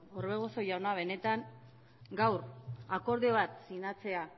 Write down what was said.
orbegozo jauna benetan gaur akordio bat sinatzea